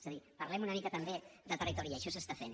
és a dir parlem una mica també de territori i això s’està fent